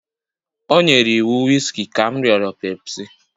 O nyere iwu wiski ka m rịọrọ pepsi